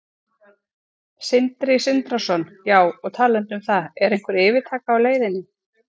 Sindri Sindrason: Já, og talandi um það, er einhver yfirtaka á leiðinni?